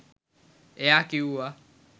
ඒයා කිවුව